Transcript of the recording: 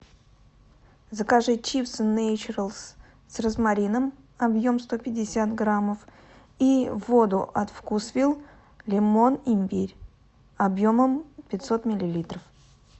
закажи чипсы нейчаралс с розмарином объем сто пятьдесят граммов и воду от вкусвилл лимон имбирь объемом пятьсот миллилитров